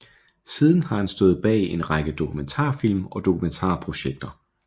Siden har han stået bag en række dokumentarfilm og dokumentarprojekter